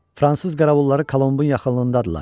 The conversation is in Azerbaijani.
Fransız qəravulları Colombun yaxınlığındadırlar.